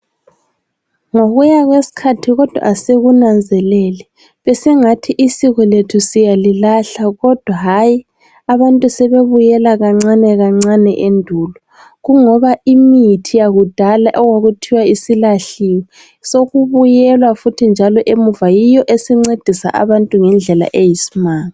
Ngokuya kwesikhathi kodwa asikunanzeleli, besingathi isiko lethu siyalilahla kodwa hayi abantu sebebuyela kancane kancane endulo. Kungoba imithi yakudala okwakuthiwa isilahliwe, sokubuyelwa futhi njalo emuva. Yiyo esincedisa abantu ngendlela eyisimanga.